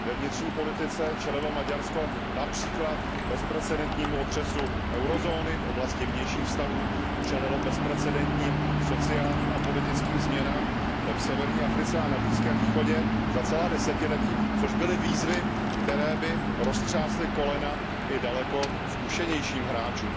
Ve vnitřní politice čelilo Maďarsko například bezprecedentnímu otřesu eurozóny, v oblasti vnějších vztahů čelilo bezprecedentním sociálním a politickým změnám v severní Africe a na Blízkém východě za celá desetiletí, což byly výzvy, které by roztřásly kolena i daleko zkušenějším hráčům.